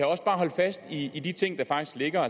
også bare holde fast i i de ting der faktisk ligger